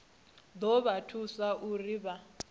ḓo vha thusa uri vha